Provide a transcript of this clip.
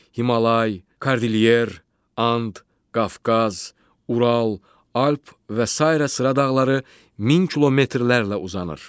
Himalay, Kordilyer, And, Qafqaz, Ural, Alp və sairə sıra dağları 1000 kilometrlərlə uzanır.